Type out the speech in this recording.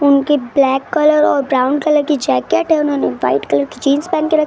उनके black colour और brown colour की जैकेट हैं उन्होंने वाइट कलर जीन्स पहन के रखे ।